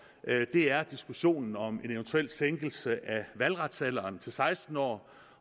er diskussionen om en eventuel sænkelse af valgretsalderen til seksten år